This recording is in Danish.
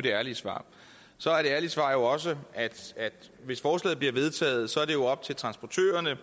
det ærlige svar så er et ærligt svar jo også at hvis forslaget bliver vedtaget er det op til transportørerne